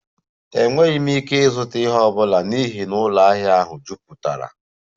Enweghị m ike ịzụta ihe ọ bụla n'ihi na ụlọ ahịa ahụ jupụtara